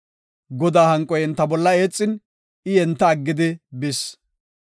Godaa hanqoy enta bolla eexin, I enta aggidi bis.